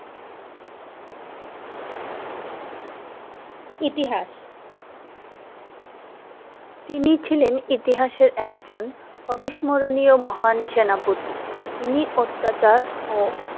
ইতিহাস তিনি ছিলেন ইতিহাসের একজন অবিস্মরণীয় মোহান সেনাপতি যিনি অত্যাচার ও